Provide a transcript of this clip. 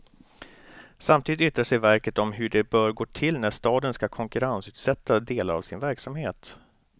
Samtidigt yttrar sig verket om hur det bör gå till när staden ska konkurrensutsätta delar av sin verksamhet.